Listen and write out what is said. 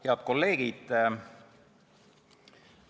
Head kolleegid!